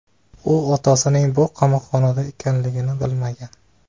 U otasining bu qamoqxonada ekanligini bilmagan.